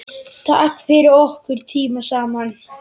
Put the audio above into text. Takk fyrir okkar tíma saman.